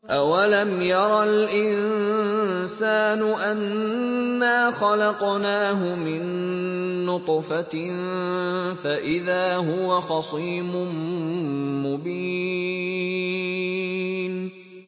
أَوَلَمْ يَرَ الْإِنسَانُ أَنَّا خَلَقْنَاهُ مِن نُّطْفَةٍ فَإِذَا هُوَ خَصِيمٌ مُّبِينٌ